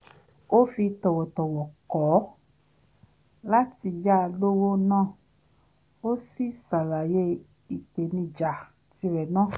ó fi tọ̀wọ̀tọ̀wọ̀ kọ̀ láti ya lówó náà ó sì ṣàlàyé ìpènijà tirè náà